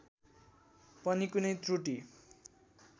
पनि कुनै त्रुटी